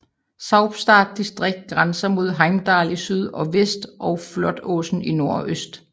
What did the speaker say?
Saupstad distrikt grænser mod Heimdal i syd og vest og Flatåsen i nord og øst